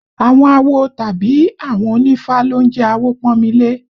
Àwọn awo tàbí àwọn onífá ló ń jẹ́ Awopọ́nmilé